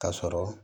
Ka sɔrɔ